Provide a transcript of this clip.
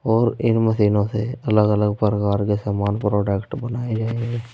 और इन मशीनों से अलग अलग प्रकार के समान प्रोडक्ट बनाए गए हैं।